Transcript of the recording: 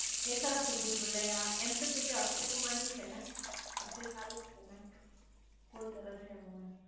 એ સરસ છે ભૂલભૂલૈયા એમ તો જો કે અક્ષયકુમાર ની છે ને અક્ષય ખાન જ છે ને